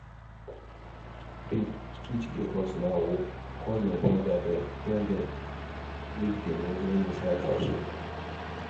babe street dey hot now oo call your your brother dem tell dem make dem remain inside house oo